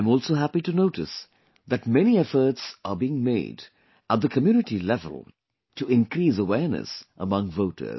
I am also happy to notice that many efforts are being made at the community level to increase awareness among voters